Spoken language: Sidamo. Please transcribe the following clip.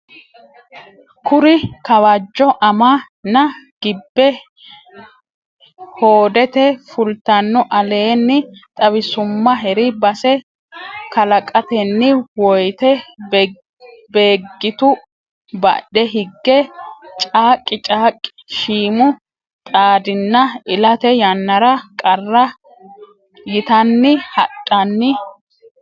Kuri Kawajjo amma na gibbe hoodete fultanno aleenni xawisummaheri bassa kalaqatenni woyte Beeggitu badhe higge caaqqi caaqqi siimu xaadinna ilate yannara qarra yitanni hadhanni.